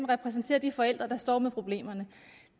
repræsenterer de forældre der står med problemerne